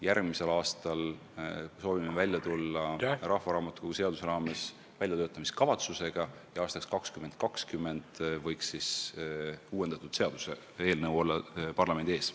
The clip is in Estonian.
Järgmisel aastal soovime välja tulla rahvaraamatukogu seaduse muutmise väljatöötamiskavatsusega ja aastaks 2020 võiks uuendatud seadus eelnõuna olla parlamendi ees.